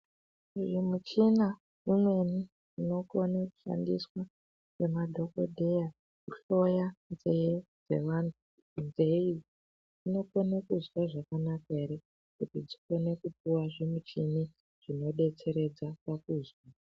Imwe michina imweni inokone kushandiswa ngemadhogodheya kuhloya nzee dzeantu. Nzee idzi dzinokone kunzwe zvakanaka ere, kuti dzikone kupuva zvimichini zvinobetseredza pakuzwa.